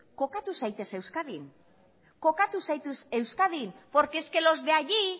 kokatu zaitez euskadin porque es que los de allí